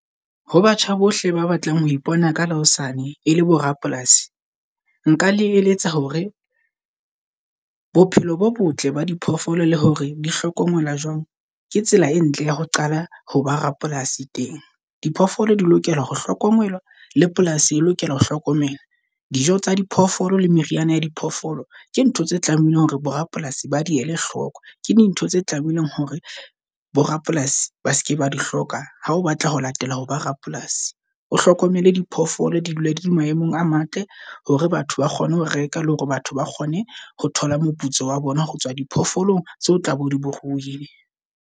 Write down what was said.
Ho batjha bohle ba batlang ho ipona ka la hosane e le bo rapolasi. Nka le eletsa hore bophelo bo botle ba di phoofolo, le hore di hlokomela jwang ke tsela e ntle ya ho qala ho ba rapolasi teng. Diphoofolo di lokela ho hlokomelwa le polasi e lokela ho hlokomelwa dijo tsa di phoofolo le meriana ya diphoofolo. Ke ntho tse tlamehileng hore bo rapolasi ba di ele hloko, ke dintho tse tlamehileng hore bo rapolasi ba seke ba di hloka. Ha o batla ho latela ho ba rapolasi. O hlokomele diphoofolo di dule dile maemong a matle hore batho ba kgone ho reka le hore batho ba kgone ho thola moputso wa bona. Ho tswa diphoofolong tseo tlabe o di rohile.